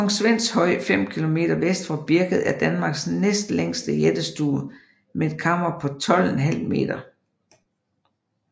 Kong Svends Høj 5 km vest for Birket er Danmarks næstlængste jættestue med et kammer på 12½ m